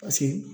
Paseke